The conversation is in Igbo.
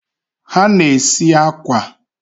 ha na-esi akwa.